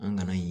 An kana yen